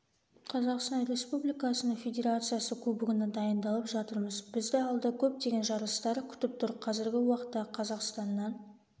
қазақстан республикасының федерациясы кубогына дайындалып жатырмыз бізді алда көптеген жарыстар күтіп тұр қазіргі уақытта қазақстаннан